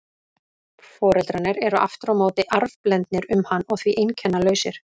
Foreldrarnir eru aftur á móti arfblendnir um hann og því einkennalausir.